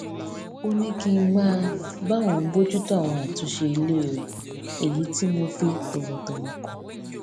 ó ní kí n máa bá òun bójútó àwọn àtúnṣe ilé rẹ èyí tí mo fi tòwòtòwò kọ